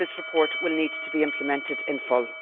This report will need to be implemented in full.